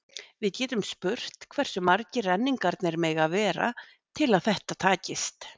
Við getum spurt hversu margir renningarnir mega vera til að þetta takist.